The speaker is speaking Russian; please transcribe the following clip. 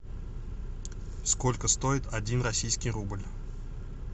сколько стоит один российский рубль